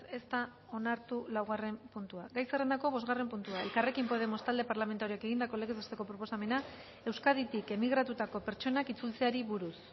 ez da onartu laugarren puntua gai zerrendako bosgarren puntua elkarrekin podemos talde parlamentarioak egindako legez besteko proposamena euskaditik emigratutako pertsonak itzultzeari buruz